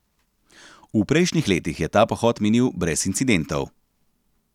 V prejšnjih letih je ta pohod minil brez incidentov.